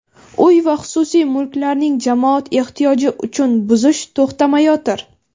uy va xususiy mulklarning "jamoat ehtiyoji" uchun buzish to‘xtamayotir.